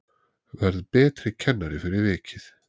Verð betri kennari fyrir vikið